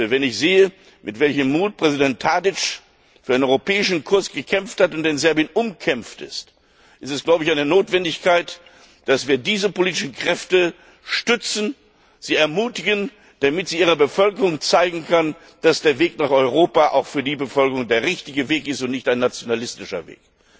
Wenn ich sehe, mit welchem Mut Präsident Tadić für einen europäischen Kurs gekämpft hat und in Serbien umkämpft ist, ist es eine Notwendigkeit, dass wir diese politischen Kräfte stützen, sie ermutigen, damit sie ihrer Bevölkerung zeigen können, dass der Weg nach Europa auch für die Bevölkerung der richtige Weg ist und nicht ein nationalistischer Weg.